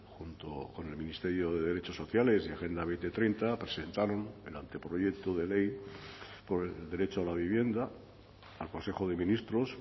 junto con el ministerio de derechos sociales y agenda dos mil treinta presentaron el anteproyecto de ley por el derecho a la vivienda al consejo de ministros